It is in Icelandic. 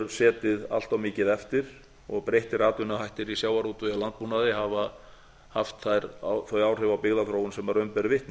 setið allt of mikið eftir og breyttir atvinnuhættir í sjávarútvegi og landbúnaði hafa haft þau áhrif á byggðaþróun sem raun ber vitni